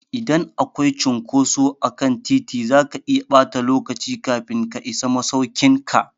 Idan akwai cunkoso akan titi, zaka iya ɓata lokaci kafin ka isa masaukin ka.